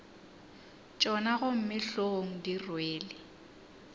tšona gomme hlogong di rwele